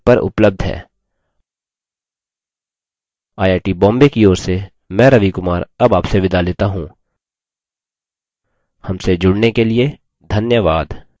I I T Bombay की ओर से मैं रवि कुमार अब आपसे विदा लेता हूँ हमसे जुड़ने के लिए धन्यवाद